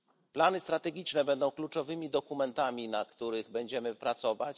Plany strategiczne będą kluczowymi dokumentami, na których będziemy pracować.